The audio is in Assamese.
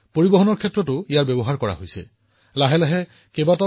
আমাৰ এই সকলো প্ৰয়োজনীয়তাৰ বাবে ড্ৰোন মোতায়েন কৰা হব বুলি আমি দেখিবলৈ বেছি পৰ নাই